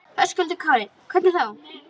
Höskuldur Kári: Hvernig þá?